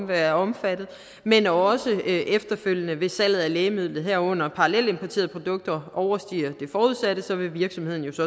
være omfattet men også efterfølgende hvis salget af lægemidlet herunder parallelimporterede produkter overstiger det forudsatte så vil virksomheden jo så